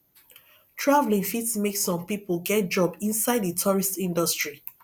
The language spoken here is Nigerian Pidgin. travelling fit make some pipo get job inside di tourist industry